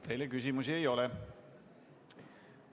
Teile küsimusi ei ole.